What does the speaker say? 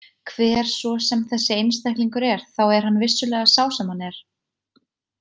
Hver svo sem þessi einstaklingur er þá er hann vissulega sá sem hann er.